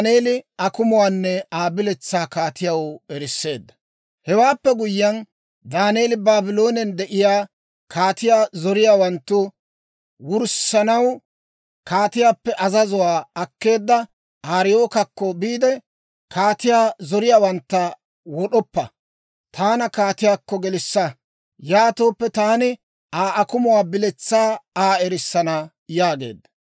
Hewaappe guyyiyaan, Daaneeli Baabloonen de'iyaa kaatiyaa zoriyaawantta wurssanaw kaatiyaappe azazuwaa akkeedda Ariyookakko biide, «Kaatiyaa zoriyaawantta wod'oppa. Taanna kaatiyaakko gelissa; yaatooppe taani Aa akumuwaa biletsaa Aa erissana» yaageedda.